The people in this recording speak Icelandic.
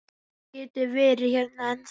Hann getur verið hérna ennþá.